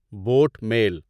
boat mail